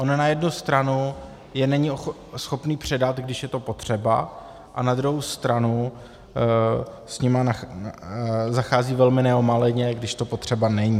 On na jednu stranu je není schopný předat, když je to potřeba, a na druhou stranu s nimi zachází velmi neomaleně, když to potřeba není.